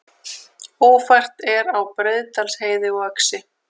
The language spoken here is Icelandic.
Ófært er á Breiðdalsheiði og Öxi